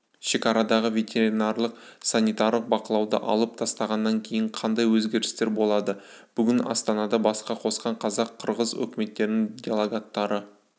шекарадағы ветеринарлық-санитарлық бақылауды алып тастағаннан кейін қандай өзгерістер болады бүгін астанада бас қосқан қазақ-қырғыз үкіметтерінің делегаттары